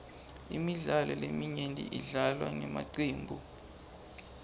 imidlalo leminyenti idlalwa ngemacembu